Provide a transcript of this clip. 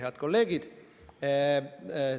Head kolleegid!